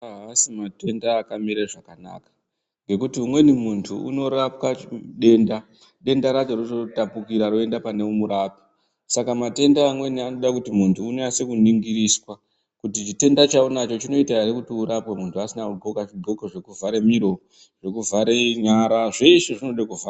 Haasi matenda akamire zvakanaka. Ngekuti umweni muntu unorapwa denda, denda racho rototapukira roenda pane murapi. Saka matenda amweni anoda kuti muntu unyase kuningiriswa kuti chitenda chauinacho chinoita ere kuti muntu asina kundxoka chindxoko chekuvhara miro, zvekuvhara nyara zveshe zvinoda kuvharwa.